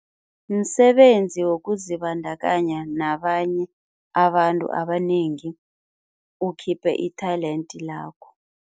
Msebenzi wokuzibandakanya nabanye abantu abanengi ukhiphe i-talent lakho.